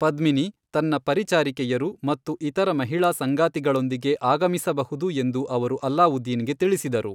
ಪದ್ಮಿನಿ ತನ್ನ ಪರಿಚಾರಿಕೆಯರು ಮತ್ತು ಇತರ ಮಹಿಳಾ ಸಂಗಾತಿಗಳೊಂದಿಗೆ ಆಗಮಿಸಬಹುದು ಎಂದು ಅವರು ಅಲಾವುದ್ದೀನ್ ಗೆ ತಿಳಿಸಿದರು.